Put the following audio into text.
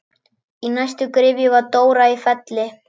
Í næstu gryfju var Dóra í Felli.